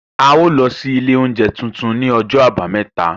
A ó lọ sí ilé oúnjẹ tuntun ní ọjọ́ àbámẹ́ta